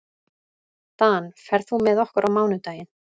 Dan, ferð þú með okkur á mánudaginn?